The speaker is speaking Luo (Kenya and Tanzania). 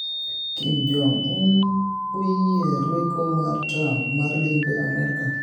Kim Jong-un oyie rweko mar Trump mar limbe Amerka